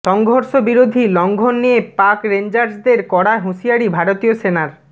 সংঘর্ষ বিরতি লঙ্ঘন নিয়ে পাক রেঞ্জার্সদের কড়া হুঁশিয়ারি ভারতীয় সেনার